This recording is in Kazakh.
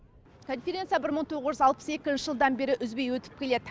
конференция бір мың тоғыз жүз алпыс екінші жылдан бері үзбей өтіп келеді